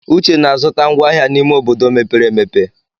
Uche na-azụta ngwá ahịa n'ime obodo mepere emepe.